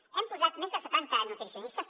i hi hem posat més de setanta nutricionistes